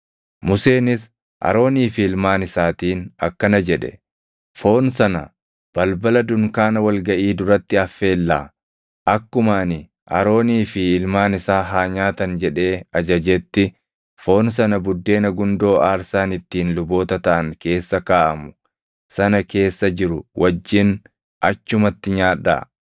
Museenis Aroonii fi ilmaan isaatiin akkana jedhe; “Foon sana balbala dunkaana wal gaʼii duratti affeellaa; akkuma ani ‘Aroonii fi ilmaan isaa haa nyaatan’ jedhee ajajetti foon sana buddeena gundoo aarsaan ittiin luboota taʼan keessa kaaʼamu sana keessa jiru wajjin achumatti nyaadhaa.